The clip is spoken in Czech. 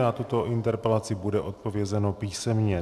Na tuto interpelaci bude odpovězeno písemně.